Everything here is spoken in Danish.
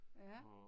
Ja